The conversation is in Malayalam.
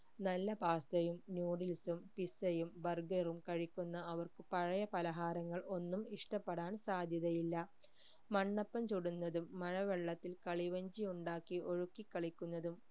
നല്ല pasta യും noodles ഉം pizza യും burger ഉം കഴിക്കുന്ന അവർക്ക് പഴയ പലഹാരങ്ങൾ ഒന്നും ഇഷ്ട്ടപെടാൻ സാധ്യത ഇല്ല മണ്ണപ്പം ചുടുന്നതും മഴ വെള്ളത്തിൽ കളി വഞ്ചി ഉണ്ടാക്കി ഒഴുക്കി കളിക്കുന്നതും